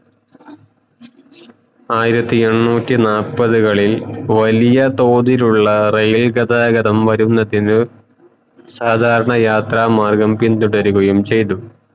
ആയിരത്തി എണ്ണൂറ്റി നാപ്പതുകളിൽ വല്യ തോതിലുള്ള rail ഗതാഗതം വരുന്നതിന് സാദാരണ യാത്ര മാർഗം